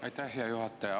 Aitäh, hea juhataja!